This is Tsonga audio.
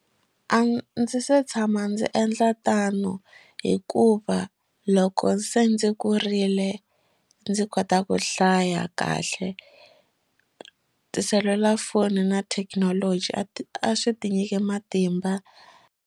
A ndzi se tshama ndzi endla tano hikuva loko se ndzi kurile ndzi kota ku hlaya kahle tiselulafoni na thekinoloji a ti a swi tinyike matimba.